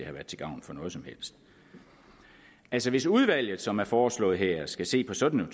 har været til gavn for noget som helst hvis hvis udvalget som er foreslået her skal se på sådan